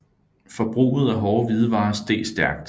Forbruget af hårde hvidevarer steg stærkt